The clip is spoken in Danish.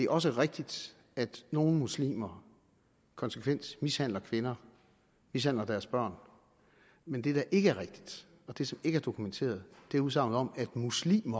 også rigtigt at nogle muslimer konsekvent mishandler kvinder mishandler deres børn men det der ikke er rigtigt og det som ikke er dokumenteret er udsagnet om at muslim